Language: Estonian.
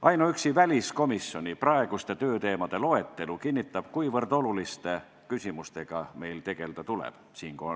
Ainuüksi väliskomisjoni praeguste tööteemade loetelu kinnitab, kui oluliste küsimustega meil tegelda tuleb.